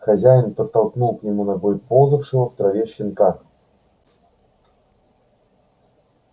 хозяин подтолкнул к нему ногой ползавшего в траве щенка